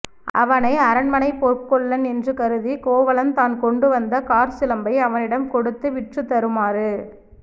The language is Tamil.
அவனை அரண்மனைப் பொற்கொல்லன் என்று கருதி கோவலன் தான் கொண்டுவந்த காற்சிலம்பை அவனிடம் கொடுத்து விற்றுத் தருமாறு